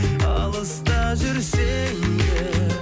алыста жүрсем де